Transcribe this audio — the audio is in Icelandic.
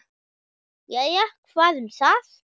Jæja, hvað um það.